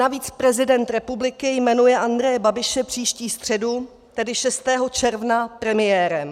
Navíc prezident republiky jmenuje Andreje Babiše příští středu, tedy 6. června, premiérem.